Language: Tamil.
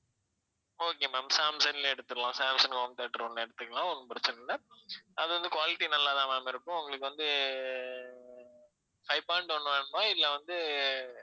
okay ma'am சாம்சங்லயே எடுத்திடலாம் சாம்சங் home theater ஒண்ணு எடுத்துக்கலாம் ஒண்ணும் பிரச்சினை இல்ல அது வந்து quality நல்லா தான் ma'am இருக்கும் உங்களுக்கு வந்து ஆஹ் five point one வேணுமா இல்ல வந்து